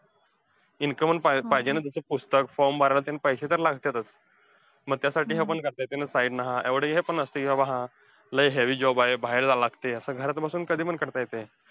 Income पण पाहिजे ना तिथे पुस्तक, form भरायला पैसे तर लागत्यातचं. मग त्यासाठी हे पण करता येतंय ना, side नं, हा एवढं हे पण नसतंय की बा हा, लयी heavy job आहे बाहेर जावं लागतंय, असं घरात बसून कधी पण करता येतंय.